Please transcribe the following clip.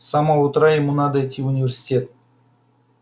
с самого утра ему надо идти в университет